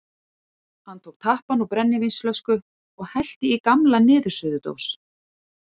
Hann tók tappann úr brennivínsflösku og hellti í gamla niðursuðudós.